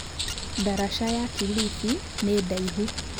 Ndaraca ya Kilifi nĩ ndaihu.